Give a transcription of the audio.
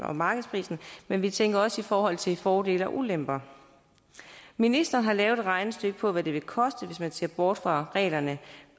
og markedsprisen men vi tænker også i forhold til fordele og ulemper ministeren har lavet et regnestykke på hvad det vil koste hvis man ser bort fra reglerne